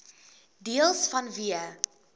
deels vanweë